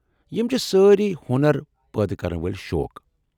یم چھِ سٲری ہۄنر پٲدٕ كرن وٲلۍ شوق ۔